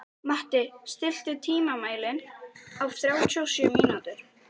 Matti, stilltu tímamælinn á þrjátíu og sjö mínútur.